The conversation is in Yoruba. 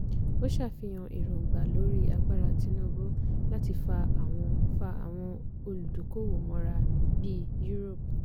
ó sàfihàn èróńgbà lórí agbára tinubu láti fa àwọn fa àwọn olùdókòwò mọ́ra bí europe.